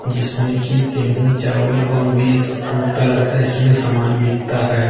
जिसमें कि गेहूं चावल और भी बहुत तरह का इसमें सामान बिकता है।